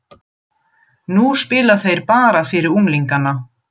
Nú spila þeir bara fyrir unglingana.